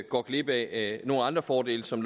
går glip af nogle andre fordele som